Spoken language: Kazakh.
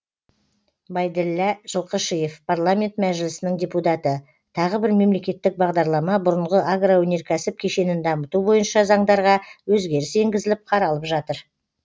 байділлә жылқышиев парламент мәжілісінің депутаты тағы бір мемлекеттік бағдарлама бұрынғы агроөнеркәсіп кешенін дамыту бойынша заңдарға өзгеріс енгізіліп қаралып жатыр